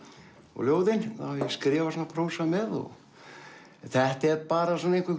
og ljóðin þá hef ég skrifað svona prósa með þetta er bara svona einhver